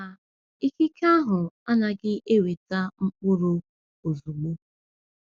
Ma, ikike ahụ anaghị eweta mkpụrụ ozugbo.